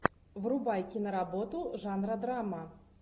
врубай киноработу жанра драма